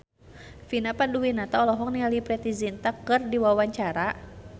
Vina Panduwinata olohok ningali Preity Zinta keur diwawancara